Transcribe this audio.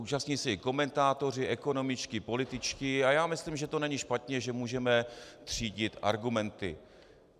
Účastní se jí komentátoři ekonomičtí, političtí a já myslím, že to není špatně, že můžeme třídit argumenty.